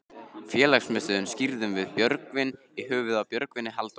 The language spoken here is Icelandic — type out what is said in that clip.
Félagsmiðstöðina skírðum við Björgvin í höfuðið á Björgvini Halldórssyni.